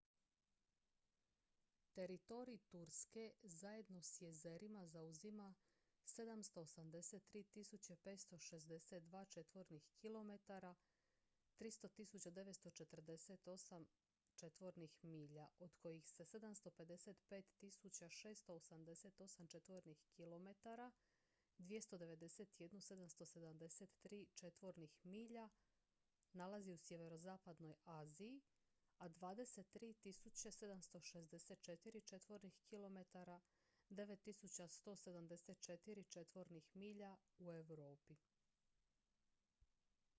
teritorij turske zajedno s jezerima zauzima 783.562 četvornih kilometara 300.948 četvornih milja od kojih se 755.688 četvornih kilometara 291.773 četvornih milja nalazi u sjeverozapadnoj aziji a 23.764 četvornih kilometara 9174 četvornih milja u europi